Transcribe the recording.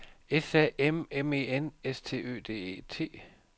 S A M M E N S T Ø D E T